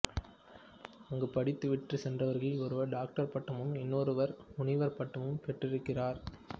அங்கு படித்துவிட்டுச் சென்றவர்களில் ஒருவர் டாக்டர் பட்டமும் இன்னொருவர் முனைவர் பட்டமும் பெற்றிருக்கிறார்